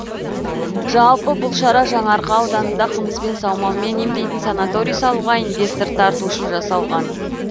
жалпы бұл шара жаңарқа ауданында қымызбен саумалмен емдейтін санаторий салуға инвестор тарту үшін жасалған